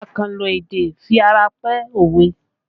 Akanlo èdè fi ara pẹ́ òwe